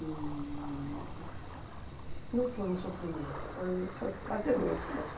E não foi um sofrimento, foi foi prazeroso para mim.